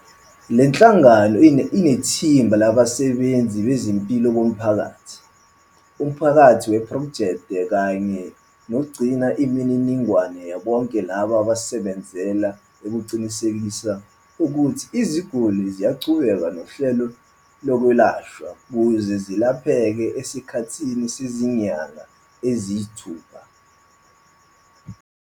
Le nhlangano inethimba labasebenzi bezempilo bomphakathi, umphathi wephrojekthi kanye nogcina imininingwane bonke laba basebenzela ukuqinisekisa ukuthi iziguli ziyaqhubeka nohlelo lokwelashwa ukuze zelapheke esikhathini sezinyanga eziyisithupha.